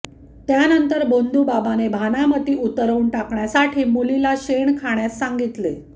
त्यानंतर भोंदूबाबाने भानामती उतरवून टाकण्यासाठी मुलीला शेण खाण्यास सांगितले